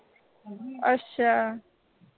ਅੱਛਾ